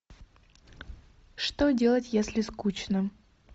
что делать если скучно